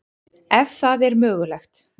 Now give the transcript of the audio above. Ef það er mögulegt.